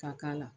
Ka k'a la